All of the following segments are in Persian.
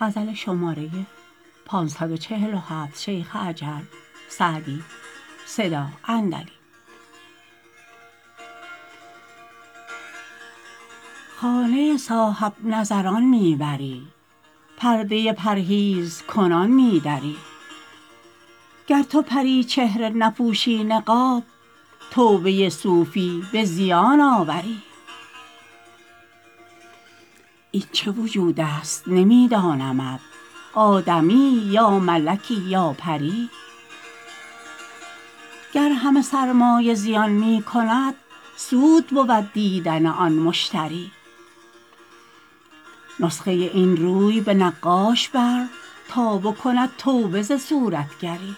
خانه صاحب نظران می بری پرده پرهیزکنان می دری گر تو پری چهره نپوشی نقاب توبه صوفی به زیان آوری این چه وجود است نمی دانمت آدمیی یا ملکی یا پری گر همه سرمایه زیان می کند سود بود دیدن آن مشتری نسخه این روی به نقاش بر تا بکند توبه ز صورتگری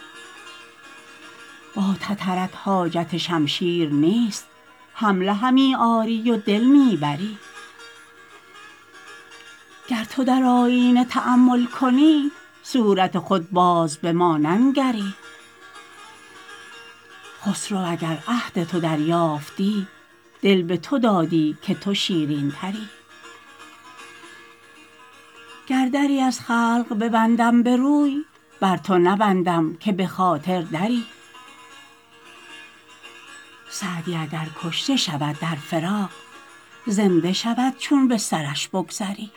با تترت حاجت شمشیر نیست حمله همی آری و دل می بری گر تو در آیینه تأمل کنی صورت خود باز به ما ننگری خسرو اگر عهد تو دریافتی دل به تو دادی که تو شیرین تری گر دری از خلق ببندم به روی بر تو نبندم که به خاطر دری سعدی اگر کشته شود در فراق زنده شود چون به سرش بگذری